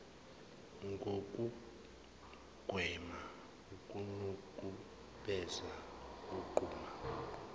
ngokugwema ukunukubeza uqhuba